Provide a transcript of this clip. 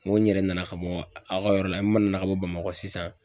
N ko n yɛrɛ nana ka bɔ a ka yɔrɔ la n ma nana ka bɔ bamakɔ sisan